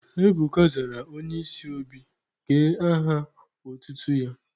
Ebuka zara Onye isi obi ka aha otutu ya.